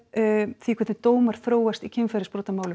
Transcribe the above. því hvernig dómar þróast í kynferðisbrotamálum